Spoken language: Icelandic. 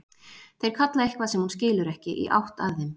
Þeir kalla eitthvað sem hún skilur ekki, í átt að þeim.